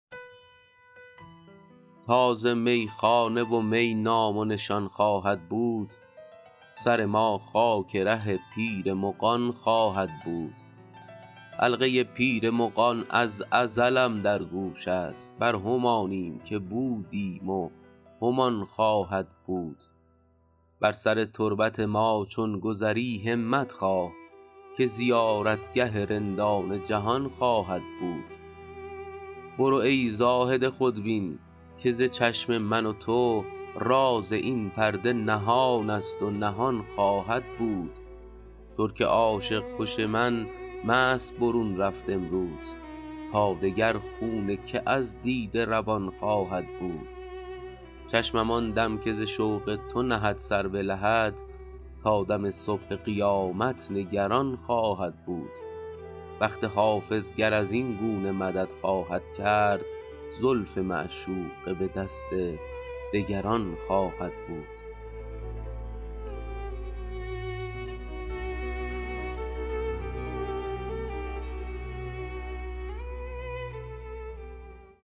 تا ز میخانه و می نام و نشان خواهد بود سر ما خاک ره پیر مغان خواهد بود حلقه پیر مغان از ازلم در گوش است بر همانیم که بودیم و همان خواهد بود بر سر تربت ما چون گذری همت خواه که زیارتگه رندان جهان خواهد بود برو ای زاهد خودبین که ز چشم من و تو راز این پرده نهان است و نهان خواهد بود ترک عاشق کش من مست برون رفت امروز تا دگر خون که از دیده روان خواهد بود چشمم آن دم که ز شوق تو نهد سر به لحد تا دم صبح قیامت نگران خواهد بود بخت حافظ گر از این گونه مدد خواهد کرد زلف معشوقه به دست دگران خواهد بود